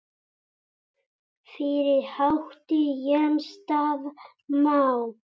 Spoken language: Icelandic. Fyrir átti Jens Daða Má.